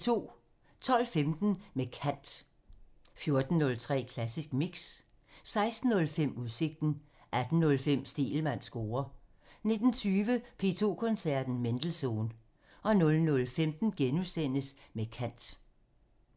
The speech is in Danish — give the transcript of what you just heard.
12:15: Med kant (Afs. 40) 14:03: Klassisk Mix (Afs. 247) 16:05: Udsigten (Afs. 222) 18:05: Stegelmanns score (Afs. 46) 19:20: P2 Koncerten – Mendelssohn (Afs. 224) 00:15: Med kant (Afs. 40)*